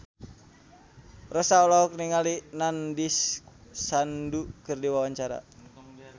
Rossa olohok ningali Nandish Sandhu keur diwawancara